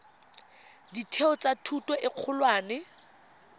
ditheo tsa thuto e kgolwane